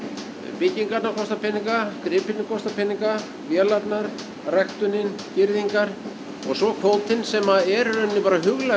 byggingarnar kosta peninga gripirnir kosta peninga vélarnar ræktunin girðingar og svo kvótinn sem er í rauninni bara huglæg